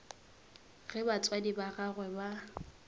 ge batswadi ba gagwe ba